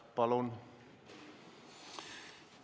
Palun!